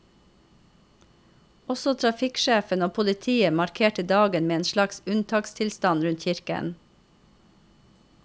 Også trafikksjefen og politiet markerte dagen med en slags unntakstilstand rundt kirken.